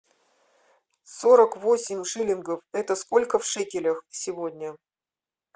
сорок восемь шиллингов это сколько в шекелях сегодня